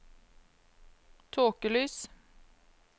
tåkelys